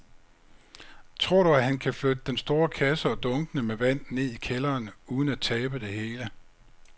Tror du, at han kan flytte den store kasse og dunkene med vand ned i kælderen uden at tabe det hele?